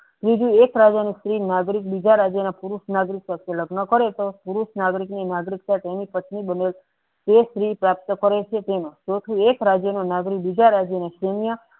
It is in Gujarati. ત્રીજું એક વાર સ્ત્રી નાગરિક બીજા રાજ્યના નાગરિક પુરુષ સાથે લગ્ન કરે તો તે પુરુષ નાગરિકના તેની પત્ની બને તે સ્ત્રી પ્રાપ્ત કરે છે તેને તેથી એક રાજ્યના નાગરિક બીજા રાજ્યના